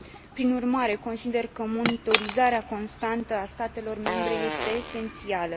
Prin urmare, consider că monitorizarea constantă a statelor membre este esențială.